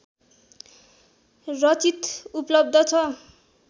रचित उपलब्ध छ